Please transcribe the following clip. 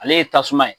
Ale ye tasuma ye